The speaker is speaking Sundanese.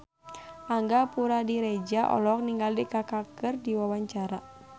Angga Puradiredja olohok ningali Kaka keur diwawancara